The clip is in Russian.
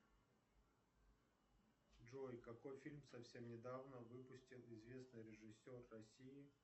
джой какой фильм совсем недавно выпустил известный режиссер россии